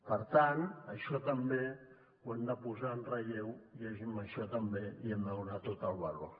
per tant això també ho hem de posar en relleu i a això també hi hem de donar tot el valor